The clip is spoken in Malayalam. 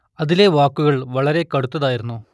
അതിലെ വാക്കുകൾ വളരെ കടുത്തതായിരുന്നു